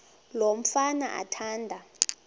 lo mfana athanda